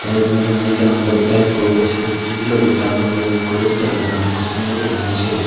tey mujungodi degong botta ikko hojo sijilo bottabo logey ikko telo deram sanyen guri agey syot.